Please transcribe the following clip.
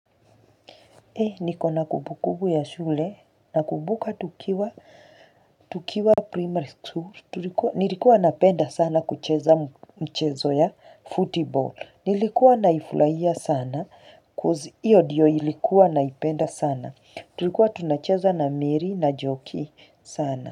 Niko na kumbukumbu ya shule nakumbuka tukiwa primary school, nilikuwa napenda sana kucheza mchezo wa football, nilikuwa naifurahia sana coz iyo ndiyo nilikuwa naipenda sana, tulikuwa tunacheza na mary na njoki sana.